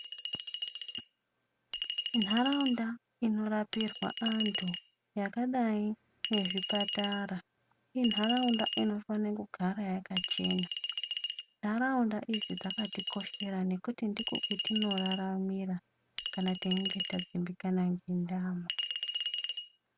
Ntaraunda inorapirwa vanhu yakadai nezvipatara inharaunda inofana kugara yakachena. Nharaunda idzi dzakatikoshera nekuti ndikwo kwetinoraramira kana teinga tadzimbikana nenyama.